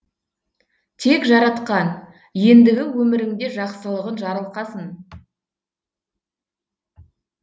тек жаратқан ендігі өміріңде жақсылығын жарылқасын